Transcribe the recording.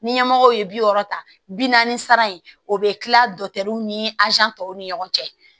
Ni ɲɛmɔgɔw ye bi wɔɔrɔ ta bi naani sara in o bɛ kila ni tɔw ni ɲɔgɔn cɛ